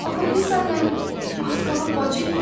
Axı biz səninlə az qala bacıyıq.